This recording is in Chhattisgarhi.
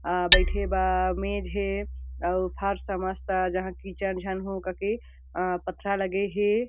आ बईठे बा मेज हे अउ फर्श मस्त जहाँ किचन झन हाउ काके अ पथरा लगे हे।